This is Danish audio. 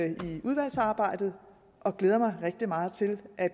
i udvalgsarbejdet og glæder mig rigtig meget til at